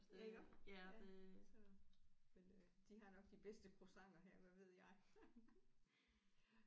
Ja iggå ja så men øh de har nok de bedste croissanter her hvad ved jeg